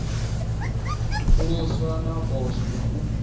pfuluswa ha poswo na u